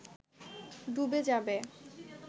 ডুবে যাবে